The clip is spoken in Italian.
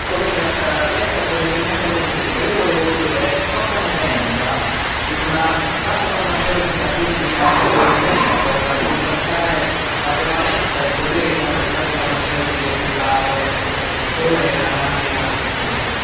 Collega, lei ha fatto riferimento alla ricerca io volevo chiedere cosa ne pensa della creazione di una casa farmaceutica pubblica ed europea per contrastare la prevalenza e il potere che hanno le case farmaceutiche private in questo settore e anche in altri settori.